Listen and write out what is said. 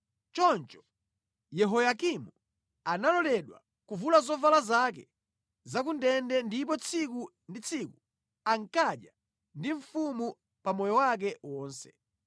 Choncho Yehoyakini analoledwa kuvula zovala zake za ku ndende ndipo tsiku ndi tsiku ankadya ndi mfumu pa moyo wake wonse.